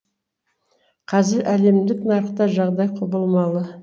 қазір әлемдік нарықта жағдай құбылмалы